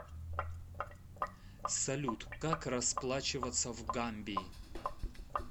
салют как расплачиваться в гамбии